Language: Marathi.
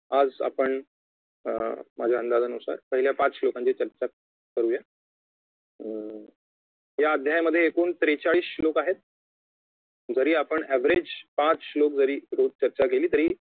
आज आपण माझ्या अंदाजानुसार पहिल्या पाच श्लोकांची चर्चा करुया या अध्यायामध्ये एकूण त्रेचाळीस श्लोक आहेत जरी आपण average पाच श्लोक जरी रोज चर्चा केली तरी